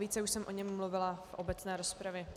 Více už jsem o něm mluvila v obecné rozpravě.